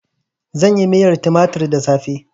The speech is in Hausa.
Zan yi miyar tumatir da safe.